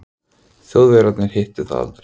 Þjóðverjarnir hittu það aldrei.